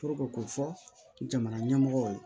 k'o fɔ jamana ɲɛmɔgɔw ye